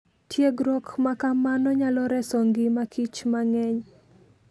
Tiegruok ma kamano nyalo reso ngima kich mang'eny.